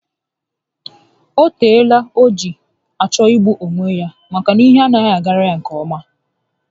O teela o ji achọ igbu onwe ya maka na ihe anaghị agara ya nke ọma